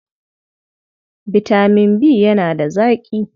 Bitamin B yana da zaƙi.